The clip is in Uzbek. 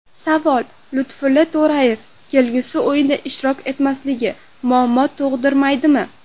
Savol: Lutfulla To‘rayev kelgusi o‘yinda ishtirok etmasligi muammo tug‘dirmaydimi?